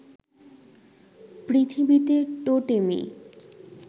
পৃথিবীতে টোটেমই